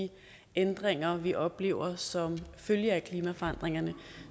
de ændringer vi oplever som følge af klimaforandringerne og